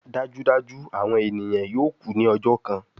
Dajudaju awọn eniyan yoo ku ni ọjọ kan